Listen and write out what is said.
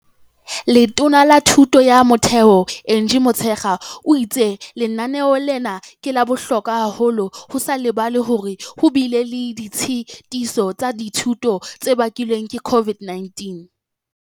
Letona la Thuto ya Motheo Angie Motshekga o itse lenaneo lena ke la bohlokwa haholo, ho sa lebalwe hore ho bile le ditshetiso tsa dithuto tse bakilweng ke COVID-19.